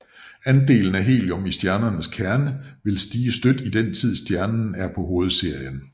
Andelen af helium i stjernens kerne vil stige støt i den tid stjernen er på hovedserien